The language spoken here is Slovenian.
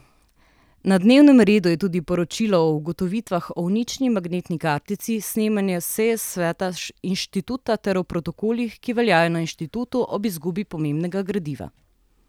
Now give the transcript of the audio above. Na dnevnem redu je tudi poročilo o ugotovitvah o uničeni magnetni kartici s snemanja seje sveta inštituta ter o protokolih, ki veljajo na inštitutu ob izgubi pomembnega gradiva.